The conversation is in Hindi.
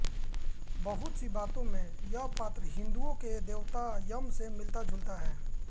बहुत सी बातों में यह पात्र हिन्दुओं के देवता यम से मिलताजुलता है